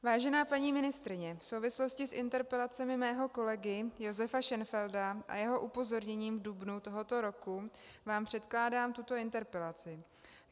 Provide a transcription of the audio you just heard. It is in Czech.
Vážená paní ministryně, v souvislosti s interpelacemi mého kolegy Josefa Šenfelda a jeho upozorněním v dubnu tohoto roku vám předkládám tuto interpelaci.